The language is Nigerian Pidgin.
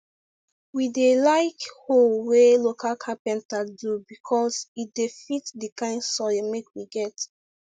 we dey like hoe wey local capenter do becos e de fit d kind soil make we get